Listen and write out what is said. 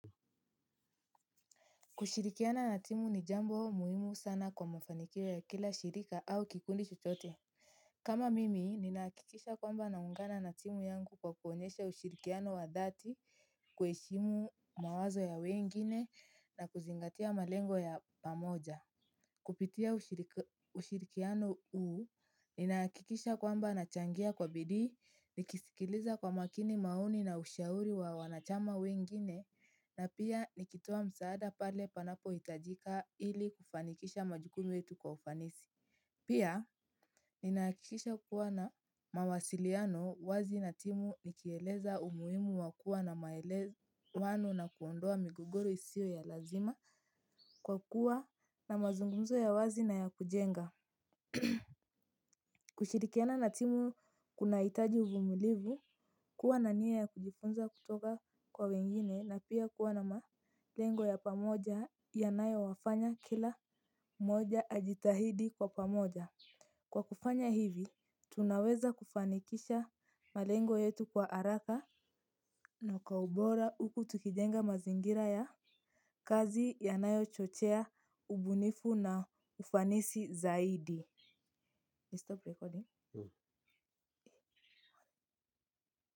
Kushirikiana na timu ni jambo muhimu sana kwa mafanikio ya kila shirika au kikundi chochote. Kama mimi, ninaakikisha kwamba naungana na timu yangu kwa kuonyesha ushirikiano wa dhati, kueshimu mawazo ya wengine na kuzingatia malengo ya pamoja. Kupitia ushirikiano uu, ninaakikisha kwamba nachangia kwa bidii, nikisikiliza kwa makini maoni na ushauri wa wanachama wengine, na pia nikitoa msaada pale panapohitajika ili kufanikisha majukumu yetu kwa ufanisi. Pia, ninaakikisha kuwa na mawasiliano wazi na timu nikieleza umuimu wa kua na maelez wano na kuondoa migogoro isio ya lazima kwa kuwa na mazungumzo ya wazi na ya kujenga. Kushirikiana na timu kunaitaji uvumilivu kuwa na nia ya kujifunza kutoka kwa wengine na pia kuwa na malengo ya pamoja yanayowafanya kila moja ajitahidi kwa pamoja. Kwa kufanya hivi, tunaweza kufanikisha malengo yetu kwa haraka. Na kwa ubora huku tukijenga mazingira ya kazi yanayo chochea, ubunifu na ufanisi zaidi Stop recording.